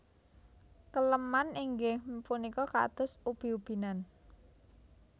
Keleman inggih punika kados ubi ubi nan